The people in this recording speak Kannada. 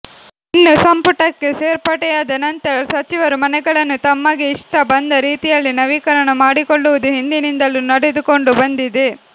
ಇನ್ನು ಸಂಪುಟಕ್ಕೆ ಸೇರ್ಪಡೆಯಾದ ನಂತರ ಸಚಿವರು ಮನೆಗಳನ್ನು ತಮಗೆ ಇಷ್ಟ ಬಂದ ರೀತಿಯಲ್ಲಿ ನವೀಕರಣ ಮಾಡಿಕೊಳ್ಳುವುದು ಹಿಂದಿನಿಂದಲೂ ನಡೆದುಕೊಂಡು ಬಂದಿದೆ